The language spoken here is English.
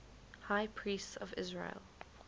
high priests of israel